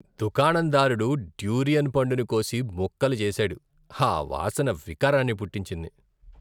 దుకాణందారుడు durian పండుని కోసి ముక్కలు చేసాడు, ఆ వాసన వికారాన్ని పుట్టించింది.